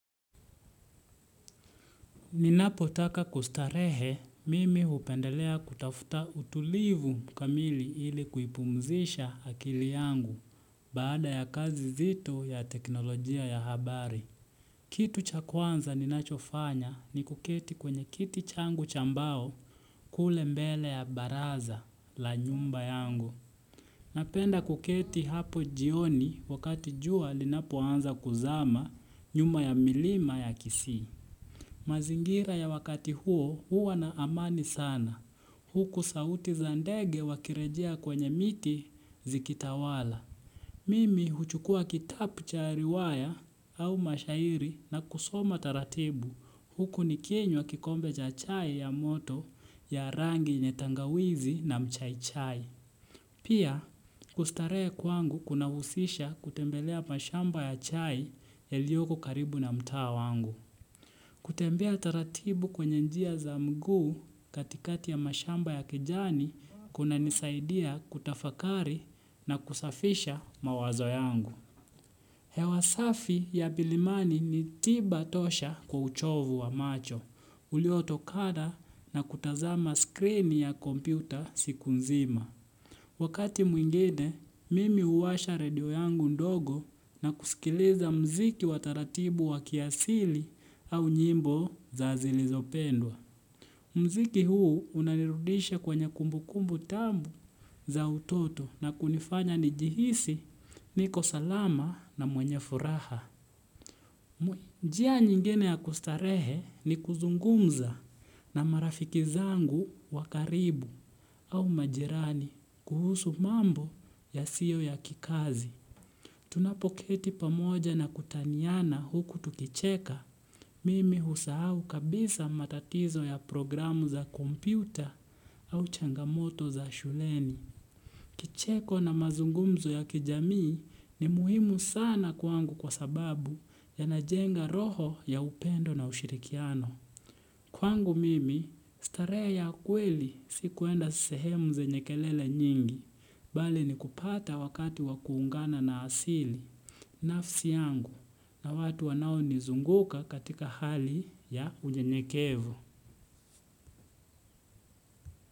Ninapotaka kustarehe mimi hupendelea kutafuta utulivu kamili ili kuipumzisha akili yangu baada ya kazi nzito ya teknolojia ya habari. Kitu cha kwanza ninachofanya ni kuketi kwenye kiti changu cha bao kule mbele ya baraza la nyumba yangu. Napenda kuketi hapo jioni wakati jua linapo anza kuzama nyuma ya milima ya kisii. Mazingira ya wakati huo huwa na amani sana. Huku sauti zandege wakirejia kwenye miti zikitawala. Mimi huchukua kitapu chaariwaya au mashairi na kusoma taratibu huku niki nywa kikombe cha chae ya moto ya rangi yenye tangawizi na mchaichae. Pia kustaree kwangu kuna usisha kutembelea mashamba ya chai ya liyoko karibu na mtaa wangu. Kutembea taratibu kwenye njia za mguu katikati ya mashamba ya kijani kuna nisaidia kutafakari na kusafisha mawazo yangu. Hewasafi ya milimani ni tiba tosha kwa uchovu wa macho, uliotokada na kutazama screen ya kompyuta siku nzima. Wakati mwingine, mimi uwasha radio yangu ndogo na kusikileza mziki wataratibu wakiasili au nyimbo za zilizopendwa. Mziki huu unanirudisha kwenye kumbukumbu tangu za utoto na kunifanya nijihisi niko salama na mwenye furaha. Njia nyingine ya kustarehe ni kuzungumza na marafikizangu wakaribu au majirani kuhusu mambo yasiyo ya kikazi. Tunapoketi pamoja na kutanyana huku tukicheka mimi husahau kabisa matatizo ya programu za kompyuta au changamoto za shuleni. Kicheko na mazungumzo ya kijamii ni muhimu sana kwangu kwa sababu yanajenga roho ya upendo na ushirikiano. Kwangu mimi, starehe ya kweli si kuenda sehemu zenyekelele nyingi. Bali ni kupata wakati wakuungana na asili. Nafsi yangu na watu wanao nizunguka katika hali ya uyenyekevu.